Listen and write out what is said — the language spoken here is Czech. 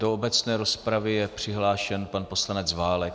Do obecné rozpravy je přihlášen pan poslanec Válek.